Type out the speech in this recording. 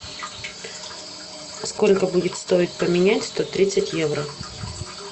сколько будет стоить поменять сто тридцать евро